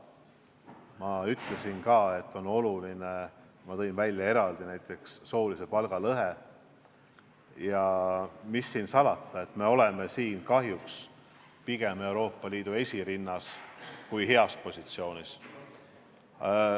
Ma ütlesin ka, ma tõin eraldi välja, et soolise palgalõhe poolest, mis siin salata, me oleme kahjuks Euroopa Liidus esirinnas, mitte heas positsioonis.